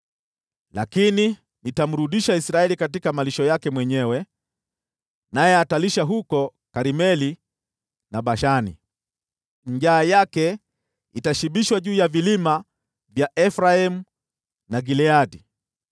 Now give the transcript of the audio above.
Lakini nitamrudisha Israeli katika malisho yake mwenyewe naye atalisha huko Karmeli na Bashani; njaa yake itashibishwa juu ya vilima vya Efraimu na Gileadi.